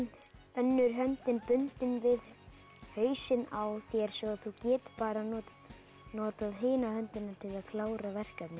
önnur höndin bundin við hausinn á þér svo þú getir bara notað hina höndina til að klára verkefnið